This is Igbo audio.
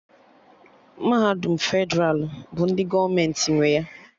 Mahadum Fedralụ bụ ndị gọọmenti nwe ya